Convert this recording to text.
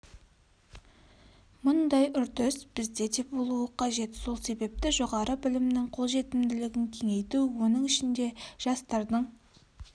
мұндай үрдіс бізде де болуы қажет сол себепті жоғары білімнің қолжетімділігін кеңейту оның ішінде жастардың